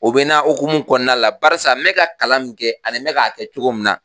O bɛ na hukumu kɔnɔna la barisa me ka kalan min kɛ ani me k'a kɛ cogo min na